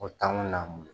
O taa mun na